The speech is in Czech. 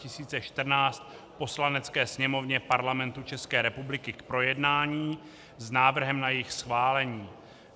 Poslanecké sněmovně Parlamentu České republiky k projednání s návrhem na jejich schválení.